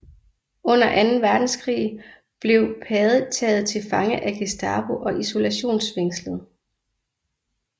Under anden verdenskrig blev Pade taget til fange af Gestapo og isolationsfængslet